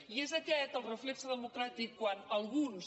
i és aquest el reflex democràtic quan alguns